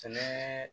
Sɛnɛ